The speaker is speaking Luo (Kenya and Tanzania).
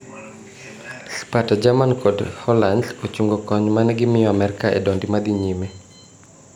Spata, jerman kod holans Ochungo kony manegimiyo Amerka e dondi madhi nyime.